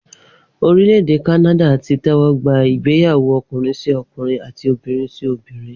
Orílẹ̀ èdè Kanada ti tẹ́wọ́ gba ìgbéyàwó ọkùnrin-sí-ọkùnrin àti obìnrin-sí-obìnrin